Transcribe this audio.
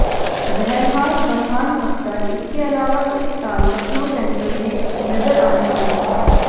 बहरहाल फरहान अख्तर इसके अलावा इस साल लखनऊ सेंट्रेल में नजर आने वाले हैं